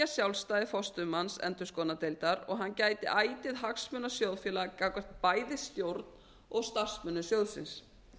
sjálfstæði forstöðumanns endurskoðunardeildar og að hann gæti ætíð hagsmuna sjóðfélaga gagnvart bæði stjórn og starfsmönnum sjóðsins